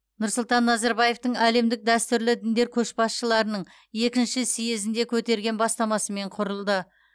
нұрсұлтан назарбаевтың әлемдік дәстүрлі діндер көшбасшыларының екінші съезінде көтерген бастамасымен құрылды